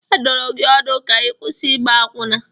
A dụrụ gị ọdụ ka ị kwụsị ịgba akwụna!